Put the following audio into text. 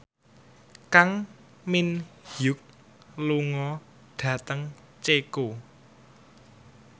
Kang Min Hyuk lunga dhateng Ceko